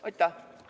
Aitäh!